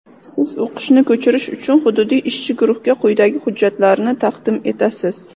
Siz o‘qishni ko‘chirish uchun hududiy ishchi guruhga quyidagi hujjatlarni taqdim etasiz:.